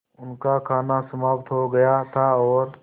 उनका खाना समाप्त हो गया था और